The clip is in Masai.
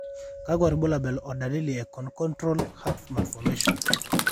kakwa irbulabol o dalili e conotruncal heart malformations?